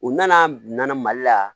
U nana nana mali la